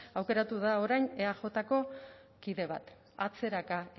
aukeratu da orain eajko kide bat atzeraka